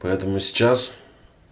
поэтому сейчас